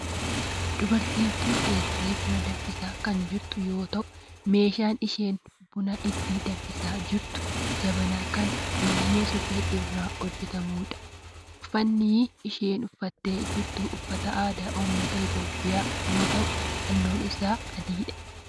Dubartiin tun teessee buna danfisaa kan jirtu yoo ta'u meeshaan isheen buna ittiin danfisaa jirtu jabanaa kan biyyee suphee irraa hojjetamudha. uffanni isheen uffattee jirtu uffata aadaa ummata Itiyoophiyaa yoo ta'u halluun isaa adiidha.